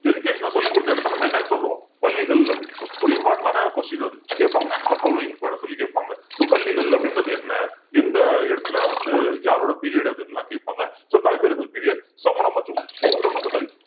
education அ சொல்லி கொடுத்த இடத்தை நம்ம என்னன்னு சொல்லுவோம் பள்ளிகள் அப்படின்னு சொல்றோம் ஒரு important ஆன question அது கேட்பாங்க match the following சொல்லி கேப்பாங்க so பள்ளிகள் அப்படின்றது என்ன எந்த இடத்துல வந்து யாரோட period அதுன்னு எல்லாம் கேப்பாங்க so களப்பிரர்கள் period சமண மற்றும் பௌத்த மதங்கள்